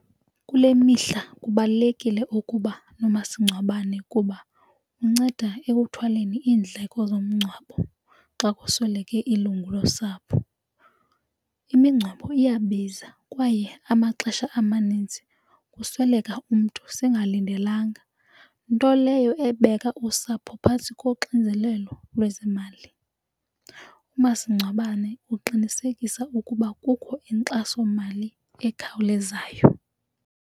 Kule mihla kubalulekile ukuba nomasingcwabane kuba unceda ekuthwaleni iindleko zomngcwabo xa kusweleke ilungu losapho. Imingcwabo iyabiza kwaye amaxesha amaninzi kusweleka umntu singalindelanga nto leyo ebeka usapho phantsi koxinzelelo lwezemali. Umasingcwabane uqinisekisa ukuba kukho inkxasomali ekhawulezayo.